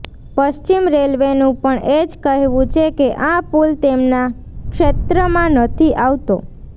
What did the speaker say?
પશ્ચિમ રેલવેનું પણ એ જ કહેવું છે કે આ પુલ તેમના ક્ષેત્રમાં નથી આવતો